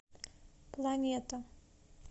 планета